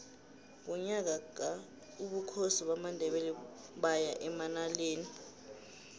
ngonyaka ka ubukhosi bamandebele baya emanaleli